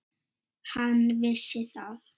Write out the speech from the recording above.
Hann vissi það.